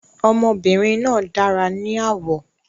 Ọmọbìnrin náà dára ní àwọ̀